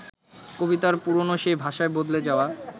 কবিতার পুরোনো সেই ভাষায় বদলে যাওয়া